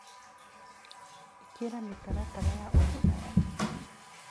Ĩkĩra mĩtaratara ya ũrugarĩ.